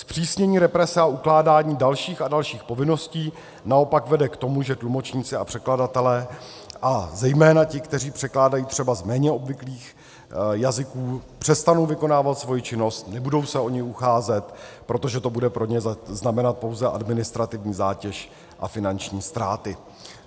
Zpřísnění represe a ukládání dalších a dalších povinností naopak vede k tomu, že tlumočníci a překladatelé a zejména ti, kteří překládají třeba z méně obvyklých jazyků, přestanou vykonávat svoji činnost, nebudou se o ni ucházet, protože to bude pro ně znamenat pouze administrativní zátěž a finanční ztráty.